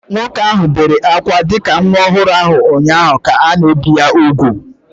Nwoke ahụ bere ákwá dị ka nwa ọhụrụ ụnyaahụ ka a na-ebi ya úgwù